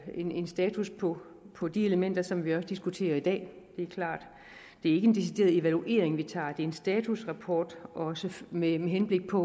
en status på på de elementer som vi også diskuterer i dag det er klart det er ikke en decideret evaluering vi tager det er en statusrapport også med henblik på